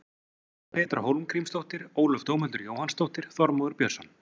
Petra Hólmgrímsdóttir Ólöf Dómhildur Jóhannsdóttir Þormóður Björnsson